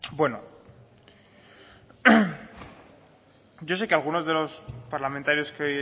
bueno yo sé que algunos de los parlamentarios que